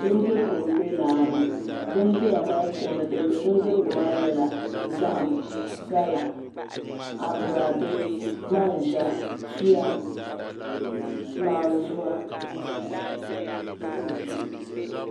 Bin dirigu n bɛ laani bin dira maa puuni nyɛla zahi, gala ni aboraadɛ manzɛ tuya naan zuwa